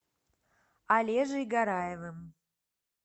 олежей гараевым